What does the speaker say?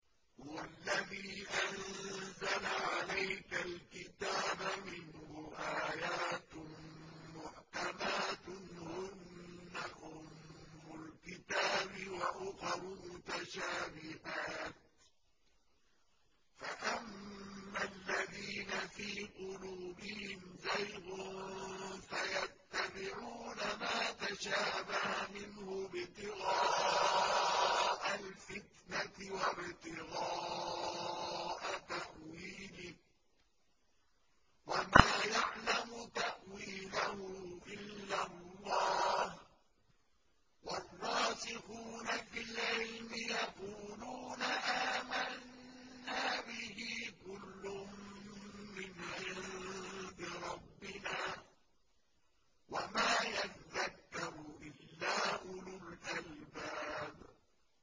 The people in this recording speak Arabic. هُوَ الَّذِي أَنزَلَ عَلَيْكَ الْكِتَابَ مِنْهُ آيَاتٌ مُّحْكَمَاتٌ هُنَّ أُمُّ الْكِتَابِ وَأُخَرُ مُتَشَابِهَاتٌ ۖ فَأَمَّا الَّذِينَ فِي قُلُوبِهِمْ زَيْغٌ فَيَتَّبِعُونَ مَا تَشَابَهَ مِنْهُ ابْتِغَاءَ الْفِتْنَةِ وَابْتِغَاءَ تَأْوِيلِهِ ۗ وَمَا يَعْلَمُ تَأْوِيلَهُ إِلَّا اللَّهُ ۗ وَالرَّاسِخُونَ فِي الْعِلْمِ يَقُولُونَ آمَنَّا بِهِ كُلٌّ مِّنْ عِندِ رَبِّنَا ۗ وَمَا يَذَّكَّرُ إِلَّا أُولُو الْأَلْبَابِ